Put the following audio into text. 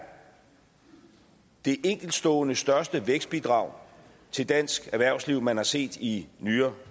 det enkeltstående største vækstbidrag til dansk erhvervsliv man har set i nyere